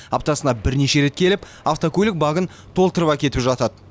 аптасына бірнеше рет келіп автокөлік багін толтырып әкетіп жатады